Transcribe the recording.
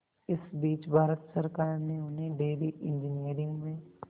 इस बीच भारत सरकार ने उन्हें डेयरी इंजीनियरिंग में